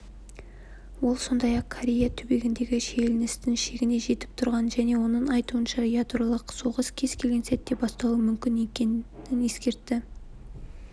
ол сондай-ақ корей түбегіндегі шиеленістің шегіне жетіп тұрғанын және оның айтуынша ядролық соғыс кез келген сәтте басталуы мүмкін екенін ескертті